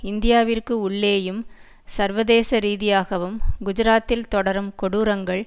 இந்தியாவிற்கு உள்ளேயும் சர்வதேசரீதியாகவும் குஜராத்தில் தொடரும் கொடூரங்கள்